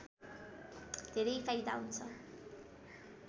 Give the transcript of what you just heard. धेरै फाइदा हुन्छ